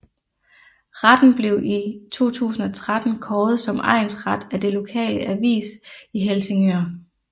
Retten blev i 2013 kåret som egnsret af den lokale avis i Helsingør